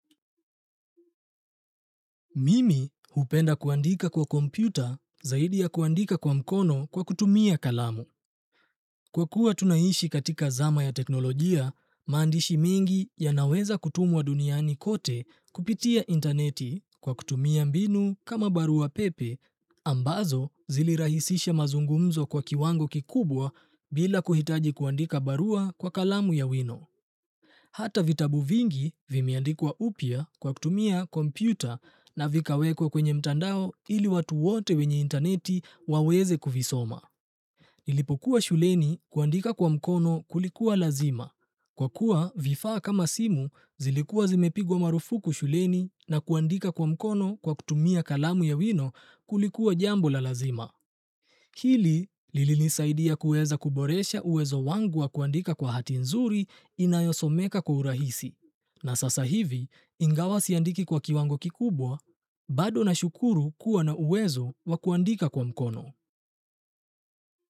Mimi hupenda kuandika kwa kompyuta, zaidi ya kuandika kwa mkono kwa kutumia kalamu. Kwa kuwa tunaishi katika zama ya teknolojia, maandishi mengi yanaweza kutumwa duniani kote kupitia intaneti kwa kutumia mbinu kama barua pepe, ambazo zilirahisisha mazungumzo kwa kiwango kikubwa bila kuhitaji kuandika barua kwa kalamu ya wino. Hata vitabu vingi vimeandikwa upya kwa kutumia kompyuta na vikawekwa kwenye mtandao ili watu wote wenye intaneti waweze kuvisoma. Nilipokuwa shuleni kuandika kwa mkono kulikuwa lazima kwa kuwa vifaa kama simu zilikua zimepigwa marufuku shuleni na kuandika kwa mkono kwa kutumia kalamu ya wino kulikuwa jambo la lazima. Hili, lilinisaidia kuweza kuboresha uwezo wangu wa kuandika kwa hati nzuri inayosomeka kwa urahisi. Na sasa hivi ingawa siandiki kwa kiwango kikubwa bado nashukuru kuwa na uwezo wa kuandika kwa mkono.